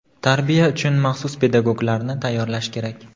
Tarbiya uchun maxsus pedagoglarni tayyorlash kerak.